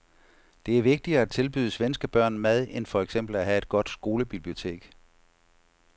Det er vigtigere at tilbyde svenske børn mad end for eksempel at have et godt skolebibliotek.